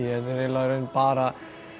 raun bara